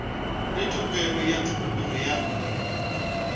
le tokelo ya tokologo ya